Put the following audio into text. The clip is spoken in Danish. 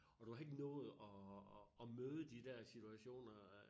Og du har ikke nået at at møde de dér situationer øh